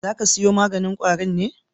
Za ka siyo maganin ƙwarin me?